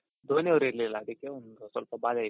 ಧೋನಿ ಅವ್ರು ಇರ್ಲಿಲ್ಲ ಅದ್ಕೆ ಒಂದ್ ಸ್ವಲ್ಪ ಬಾದೆ ಇತ್ತು